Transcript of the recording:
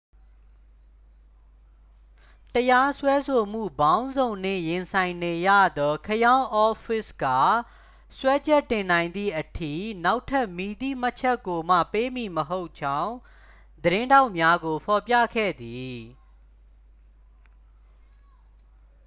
တရားစွဲဆိုမှုပေါင်းစုံနှင့် ရင်ဆိုင်နေရသော ခရောင်းအော့ဖ်ဖစ် က စွဲချက်တင်နိုင်သည်အထိ နောက်ထပ်မည်သည့်မှတ်ချက်ကိုမှ ပေးမည်မဟုတ်ကြောင်း သတင်းထောက်များကို ဖော်ပြခဲ့သည်